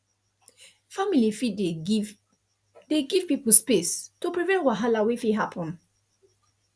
family fit dey give dey give people space to prevent wahala wey fit happen